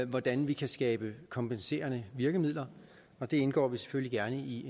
hvordan vi kan skabe kompenserende virkemidler det indgår vi selvfølgelig gerne i